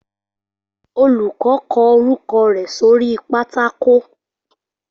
Olùkọ́ kọ orúkọ rẹ̀ sóri pátákó